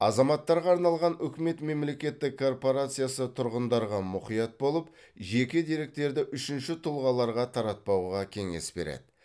азаматтарға арналған үкімет мемлекеттік корпорациясы тұрғындарға мұқият болып жеке деректерді үшінші тұлғаларға таратпауға кеңес береді